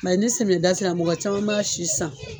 Mɛ ni semiyɛda sera mɔgɔ caman b'a si san